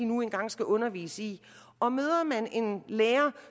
nu engang skal undervise i og møder man en lærer